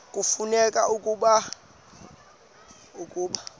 kufuneka ke ukuba